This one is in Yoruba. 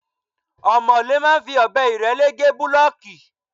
Omole máa ń fi ọbẹ irele gé bulooki.